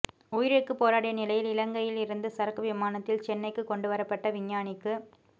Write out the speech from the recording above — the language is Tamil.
உயிருக்குப் போராடிய நிலையில் இலங்கையில் இருந்து சரக்கு விமானத்தில் சென்னைக்குக் கொண்டு வரப்பட்ட விஞ்ஞானிக்கு